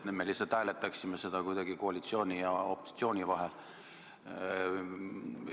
Me lihtsalt hääletaksime seda kuidagi koalitsiooni ja opositsiooni vahel.